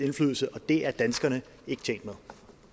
indflydelse og det er danskerne ikke tjent med